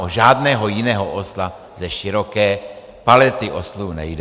O žádného jiného osla ze široké palety oslů nejde.